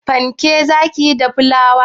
Fanke za ki yi da flawar?